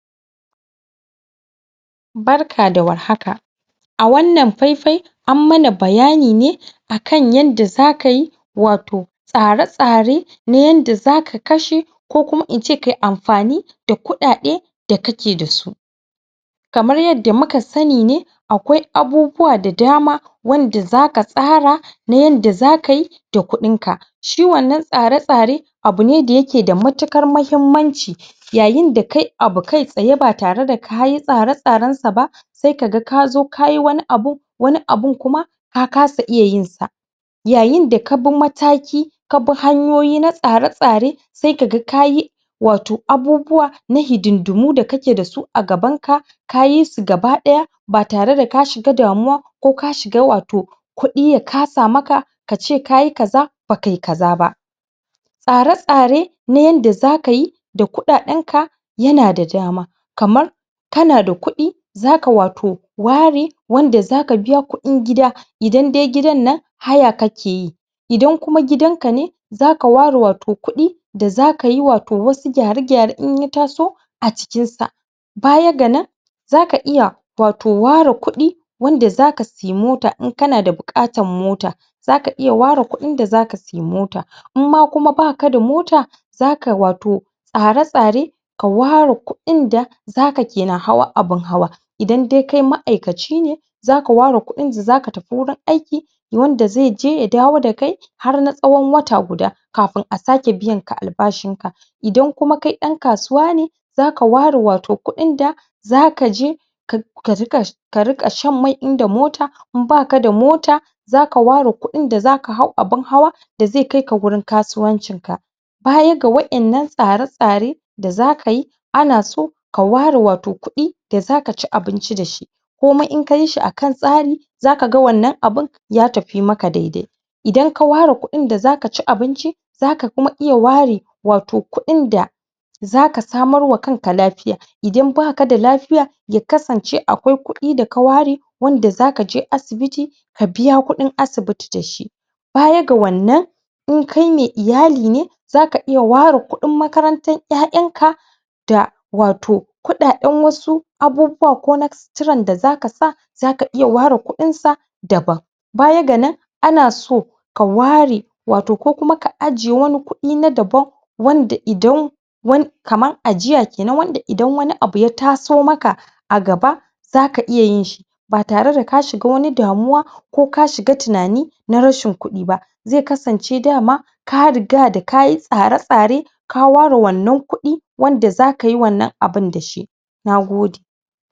Barka da warhaka a wannan fai-fai an mana bayani ne a kan yanda za kai wato tsare-tsare na yanda za ka kashe ko kuma in ce ka yi amfani da kuɗaɗe da kake da su Kamar yadda muka sani ne akwai abubuwa da dama wanda za ka tsara na yanda za kai da kuɗinka shi wannan tsare-tsare abu ne da yake da matuƙar muhimmanci. yayin da kai abu kai tsaye ba tare da kayi tsare-tsarensa ba. sai ka ga ka zo ka yi wani abu, wanin abun kuma ka kasa iya yin sa yayin da ka bi mataki ka bi hanyoyi na tsare-tsare sai ka ga ka yi wato abubuwa na hidindimu da kake da su a gabanka. ka yi su gaba ɗaya ba tare da ka shiga damuwa ko ka shiga wato kuɗi ya kasa maka ka ce ka yi kaza ba kai kaza ba. Tsare-tsare na yanda za ka yi da kuɗaɗenka yana da dama kamar ka da kuɗi za ka wato ware wanda za ka biya kuɗin gida idan dai gidan nan haya kake yi, idan kuma gidanka ne za ka ware wato kuɗi da za ka yi wasu gyare-gyare in ya taso a cikin sa ba ya ga nan. za ka iya wato ware kuɗi wanda za ka siya mota in kana buƙatar mota. za ka iya ware kuɗin da za ka sai mota. In ma kuma ba ka da mota tsare-tsare ka ware kuɗin da za ka ke na hawa bin hawa idan dai kai ma'aikaci ne za ka ware kuɗin da za ka tafi wajen aiki wanda zai je ya dawo har na tsawon wata guda. Kafin a sake biyanka albashinka. idan kuma kai ɗan kasuwa ne za ka ware wato kuɗin da za ka zo ka riƙa ka riƙa shan mai in da mota, in ba ka da mota za ka ware kuɗin da za ka hau abin hawa da zai kai ka gurin kasuwancinka baya ga wa'innan tsare-tsaren da za kai ana so ka ware wato kuɗi da za ka ci abinci da shi, komai in ka yi shi a kan tsari za ka ga wannan abun ya tafi maka dai-dai. idan ka ware kuɗin da za ka ci abinci za ka kuma iya ware kuɗinda za ka samarwa kanka lafiya idan ba ka da lafiya ya kasance akwai kuɗi da ka ware wanda za ka je asibiti ka biya kuɗin asibiti da shi, baya ga wannan in kai me iyali ne za ka iya ware kuɗin makarantar ƴaƴanka Da wato kuɗaɗen wasu abubuwan ko na ciron da za ka sa za ka iya ware kuɗinsa dabam. Baya ga nan ana so ka ware wato ko kuma ka aje wani kuɗi na dabam wanda idan kamar ajiya ke nan wanda idan wani abu ya taso maka a gaba za ka iya yinshi ba tare da ka shiga wani damuwa ko ka shiga tinani na rashin kuɗi ba. zai kasance dama ka riga na ka yi tsare-tsare ka ware wannan kuɗi wanda za ka yi wannan abun da shi, na gode.